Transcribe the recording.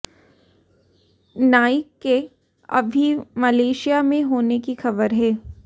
नाईक के अभी मलेशिया में होने की खबर है